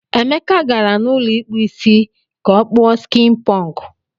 Emeka gara n'ụlọ ikpu Ịsị ka o kpuo skin punk.